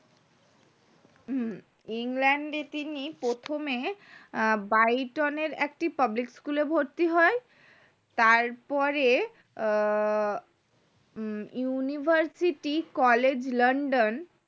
হু England এ তিনি প্রথমে বায়োটিন এর একটি public school এ ভর্তি হয় তারপরে আহ university college লন্ডন